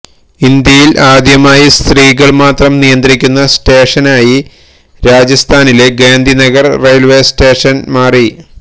ഇന്ത്യയില് ആദ്യമായി സ്ത്രീകള് മാത്രം നിയന്ത്രിക്കുന്ന സ്റ്റേഷനായി രാജസ്ഥാനിലെ ഗാന്ധിനഗര് റെയില്വേസ്റ്റേഷന് മാറി